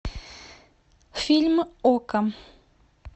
фильм окко